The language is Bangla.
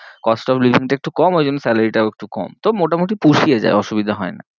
cost of living টা একটু কম ঐ জন্যে salary টাও একটু কম, তো মোটামুটি পুষিয়ে যায় অসুবিধা হয়ে না।